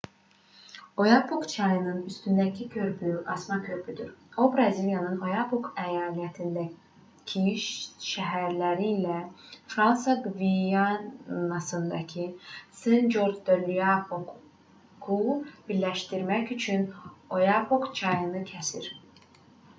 oyapok çayının üstündəki körpü asma körpüdür o braziliyanın oyapok əyalətindəki şəhərləri ilə fransa qvianasındakı sen-corc de-l'oapoku birləşdirmək üçün oyapok çayını kəsir